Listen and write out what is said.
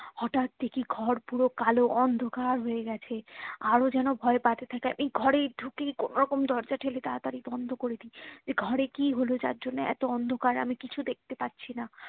হটাৎ দেখি ঘরে পুরো কালো অন্ধকার হয়ে গেছে আরো যেন ভয়ে পালাতে থাকা এই ঘরে ঢুকি কোনো রকম দরজা ঠেলে তাড়াতাড়ি বন্ধ করে দি ঘরে কি হলো যার জন্য এত অন্ধকার আমি কিছু দেখতে পারছিনা